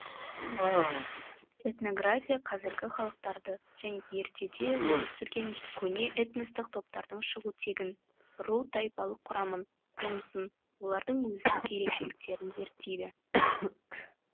этнография қазіргі халықтарды және ертеде өмір сүрген көне этностық топтардың шығу тегін ру тайпалық құрамын қонысын олардың өзіндік ерекшеліктерін зерттейді